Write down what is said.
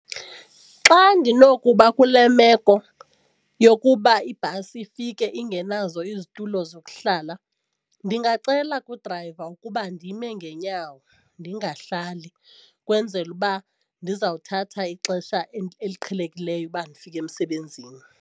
Xa ndinokuba kule meko yokuba ibhasi ifike ingenazo izitulo zokuhlala ndingacela kudrayiva ukuba ndime ngeenyawo ndingahlali ukwenzela uba ndizawuthatha ixesha eliqhelekileyo uba ndifike emsebenzini.